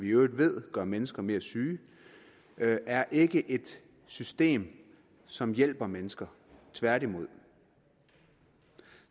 i øvrigt ved gør mennesker mere syge er ikke et system som hjælper mennesker tværtimod